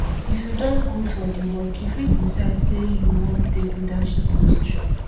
if you don good for di work you fit decide sey you wan take leadership position